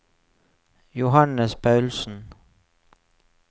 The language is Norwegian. Johannes Paulsen